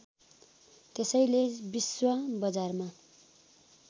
त्यसैले विश्व बजारमा